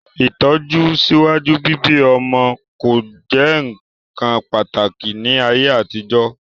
Itọju síwájú bíbí'mọ ko jẹ nkán pàtàkì ni ayé àtijọ́.